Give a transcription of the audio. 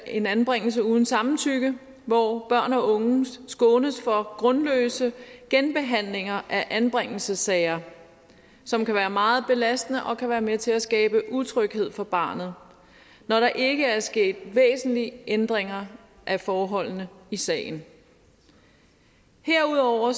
en anbringelse uden samtykke hvor børn og unge skånes for grundløse genbehandlinger af anbringelsessagen som kan være meget belastende og kan være med til at skabe utryghed for barnet når der ikke er sket væsentlige ændringer af forholdene i sagen herudover